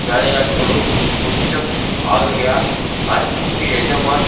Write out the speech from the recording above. வேலையாட்களோ கொஞ்சம் ஆகையால் அறுப்புக்கு எஜமான்